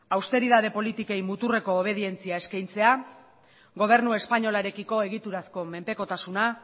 austeridade politikei muturreko obedientzia eskaintzea gobernu espainolarekiko egiturazko menpekotasuna